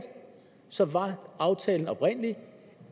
så var aftalen oprindelig